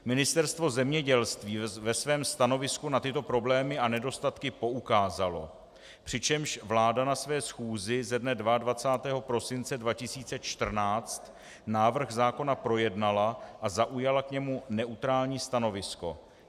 Ministerstvo zemědělství ve svém stanovisku na tyto problémy a nedostatky poukázalo, přičemž vláda na své schůzi ze dne 22. prosince 2014 návrh zákona projednala a zaujala k němu neutrální stanovisko.